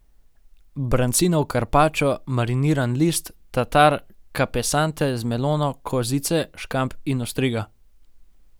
Brancinov karpačo, mariniran list, tatar kapesante z melono, kozice, škamp in ostriga.